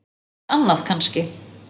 Allt annað kannski.